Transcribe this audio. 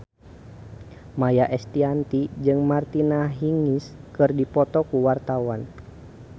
Maia Estianty jeung Martina Hingis keur dipoto ku wartawan